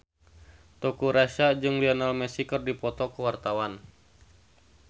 Teuku Rassya jeung Lionel Messi keur dipoto ku wartawan